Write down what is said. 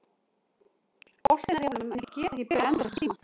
Boltinn er hjá honum en ég get ekki beðið endalaust við símann.